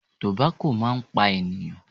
Tobacco máa ń pa ènìyàn.